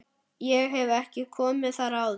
Ég hef ekki komið þar áður.